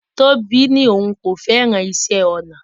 Tobi ní òun kò fẹ́ràn iṣẹ́-ọnà